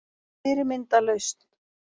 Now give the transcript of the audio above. Fyrirmynd að lausn